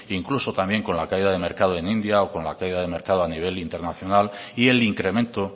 incluso también con la caída del mercado en india o con la caída del mercado a nivel internacional y el incremento